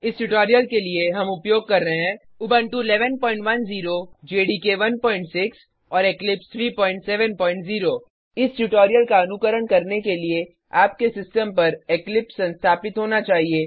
इस ट्यूटोरियल में हम उपयोग कर रहे हैं उबंटु 1110 जेडीके 16 और इक्लिप्स 370 इस ट्यूटोरियल का अनुकरण करने के लिए आपके सिस्टम पर इक्लिप्स संस्थापित होना चाहिए